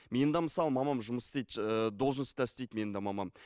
менің де мысалы мамам жұмыс істейді ііі должностьта істейді менің де мамам